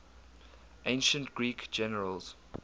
ancient greek generals